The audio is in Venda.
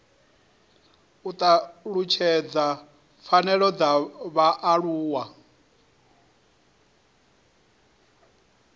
u talutshedza pfanelo dza vhaaluwa